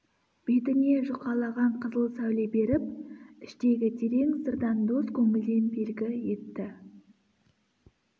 бетіне жұқалаған қызыл сәуле беріп іштегі терең сырдан дос көңілден белгі етті